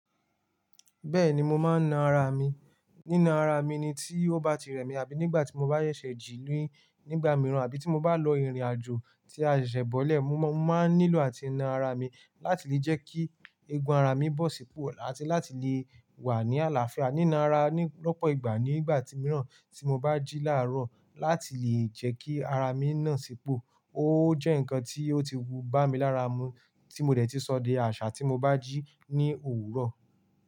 Bẹ́ẹ̀ni mo máa ń na ara mi. Nína ara mi ni tí ó bá ti rẹ̀ mí àbí nígbà tí mo bá ṣẹ̀seji nígbà mìíràn àbí tí mo bá lọ ìrìnàjò tí a ṣẹ̀ bọ́lẹ̀. Mo máa ń nílò àti na ara mi láti lè jẹ́ kí eegun ara mi bọ́ sípò àti láti lè wà ní àlàáfíà. Nína ara lọ́pọ̀ ìgbà nígbà mìíràn tí mo bá jí láàárọ̀ láti lè jẹ́ kí ara mi náà sípò. Ó jẹ́ ǹkan tí ó ti wu bá mi lára mu tí mo dè tí sọ̀dẹ̀ àṣà tí mo bá jí ní òwúrọ̀.